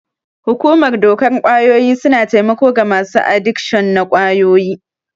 Hukumar dokar ƙwayoyi suna taimako ga masu adikshon na ƙwayoyi.